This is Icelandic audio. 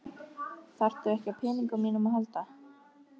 Þarftu ekki á peningunum mínum að halda!